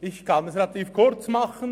Ich kann es relativ kurz machen: